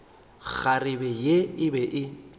kgarebe ye e be e